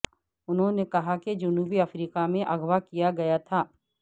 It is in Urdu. انہوں نے کہا کہ جنوبی افریقہ میں اغوا کیا گیا تھا